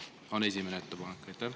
See on esimene ettepanek.